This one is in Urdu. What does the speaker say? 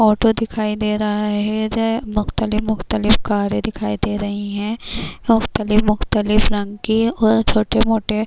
اوٹو دکھایی دے رہا ہے، مختلف مختلف کارے دکھایی دے رہی ہیں، مختلف مختلف رنگ کی اور چھوٹے موٹے --